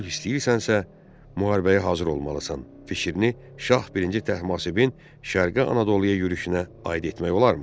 Sülh istəyirsənsə, müharibəyə hazır olmalısan fikrini Şah birinci Təhmasibin şərqi Anadoluya yürüşünə aid etmək olarmı?